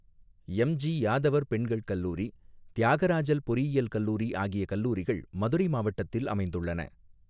MG யாதவர் பெண்கள் கல்லூரி தியாகராஜல் பொறியியல் கல்லூரி ஆகிய கல்லூரிகள் மதுரை மாவட்டத்தில் அமைந்துள்ளன.